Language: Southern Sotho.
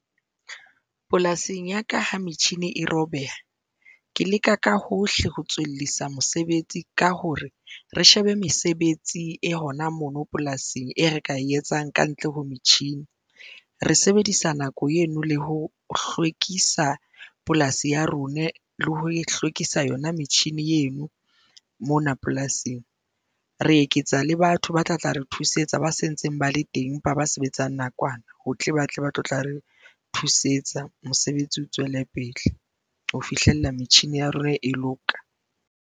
Polasing ya ka ha metjhini e robeha, ke leka ka hohle ho tswellisa mosebetsi ka hore re shebe mesebetsi e hona mono polasing e re ka e etsang ka ntle ho metjhini, re sebedisa nako eno le ho hlwekisa polasi ya rona le ho hlwekisa yona metjhini eno mona polasing, re eketsa le batho ba tla tla re thusetsa ba sentseng ba le teng empa ba sebetsang nakwana ho tle ba tle ba tlo tla re thusetsa. Mosebetsi o tswele pele ho fihlella metjhine ya rona e loka.